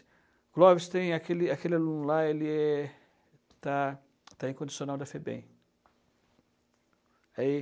O Clóvis tem aquele aquele aluno lá, ele é está está em condicional da Febem. Aí